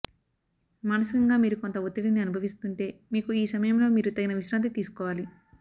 మానసికంగా మీరు కొంత ఒత్తిడిని అనుభవిస్తుంటే మీకు ఈ సమయంలో మీరు తగిన విశ్రాంతి తీసుకోవాలి